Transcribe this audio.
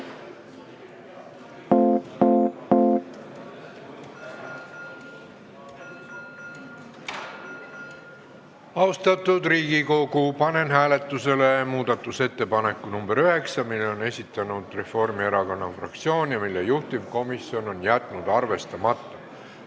Austatud Riigikogu, panen hääletusele muudatusettepaneku nr 9, mille on esitanud Reformierakonna fraktsioon ja mille juhtivkomisjon on jätnud arvestamata.